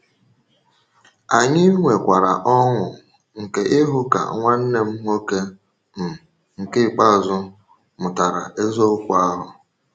Anyị nwekwara ọṅụ nke ịhụ ka nwanne m nwoke um nke ikpeazụ mụtara eziokwu eziokwu ahụ.